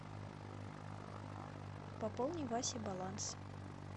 пополни васе баланс